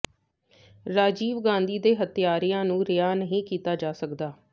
ਰਾਜੀਵ ਗਾਂਧੀ ਦੇ ਹਤਿਆਰਿਆਂ ਨੂੰ ਰਿਹਾਅ ਨਹੀਂ ਕੀਤਾ ਜਾ ਸਕਦਾ